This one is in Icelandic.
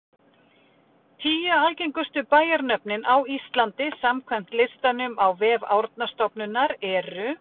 Tíu algengustu bæjarnöfnin á Íslandi samkvæmt listanum á vef Árnastofnunar eru: